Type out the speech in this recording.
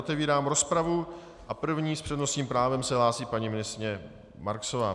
Otevírám rozpravu a první s přednostním právem se hlásí paní ministryně Marksová.